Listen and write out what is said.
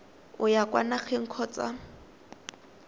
o ya kwa nageng kgotsa